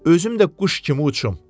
Özüm də quş kimi uçum.